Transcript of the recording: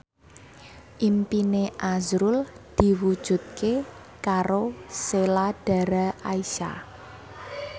impine azrul diwujudke karo Sheila Dara Aisha